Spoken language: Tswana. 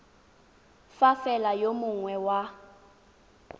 fa fela yo mongwe wa